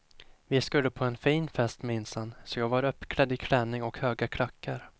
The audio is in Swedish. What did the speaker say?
Vi skulle på en fin fest minsann så jag var uppklädd i klänning och höga klackar.